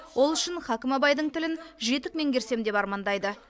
ол үшін хәкім абайдың тілін жетік меңгерсем деп армандайды